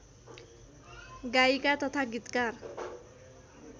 गायिका तथा गीतकार